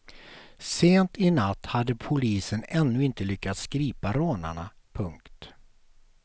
Sent i natt hade polisen ännu inte lyckats gripa rånarna. punkt